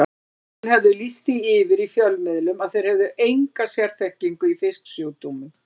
Þessir menn höfðu lýst því yfir í fjölmiðlum að þeir hefðu enga sérþekkingu í fisksjúkdómum.